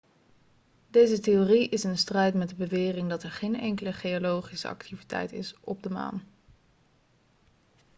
deze theorie is in strijd met de bewering dat er geen enkele geologische activiteit is op de maan